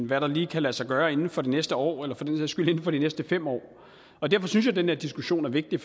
hvad der lige kan lade sig gøre inden for det næste år eller for den sags skyld inden for de næste fem år og derfor synes jeg den her diskussion er vigtig